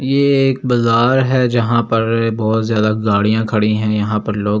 ये एक बजार है जहां पर बहोत ज्यादा गाड़ियां खड़ी हैं यहां पर लोग --